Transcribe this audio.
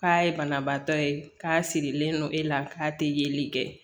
K'a ye banabaatɔ ye k'a sirilen don e la k'a tɛ yeli kɛ